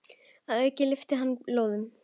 Að auki lyftir hann lóðum.